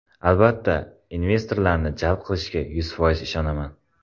Albatta investorlarni jalb qilishga yuz foiz ishonaman.